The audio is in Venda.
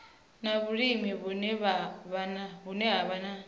na vhulimi vhune ha vha